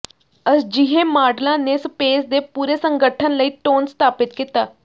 ਅਜਿਹੇ ਮਾਡਲਾਂ ਨੇ ਸਪੇਸ ਦੇ ਪੂਰੇ ਸੰਗਠਨ ਲਈ ਟੋਨ ਸਥਾਪਿਤ ਕੀਤਾ